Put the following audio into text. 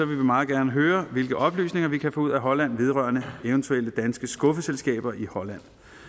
vi meget gerne høre hvilke oplysninger vi kan få ud af holland vedrørende eventuelle danske skuffeselskaber i holland og